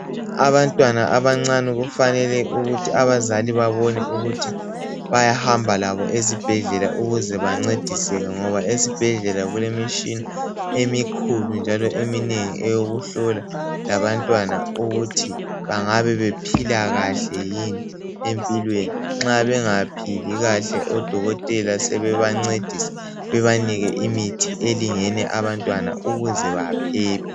Abantwana abancane kufanele abazali babone ukuthi bayahamba labo esibhedlela ngoba esibhedlela kulemitshina emikhulu njalo eminengi eyokuhlola abantwana ukuthi bangabe bephila kahle yini empilweni. Nxa bengaphili kahle odokotela besebebancedisa bebanike imithi elingene abantwana ukuze baphephe